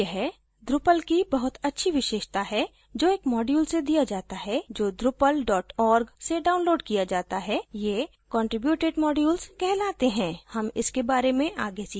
यह drupal की बहुत ही अच्छी विशेषता है जो एक module से दिया जाता है जो drupal org से downloaded किया जाता है ये contributed modules कहलाते हैं हम इसके बारे में आगे सीखेंगे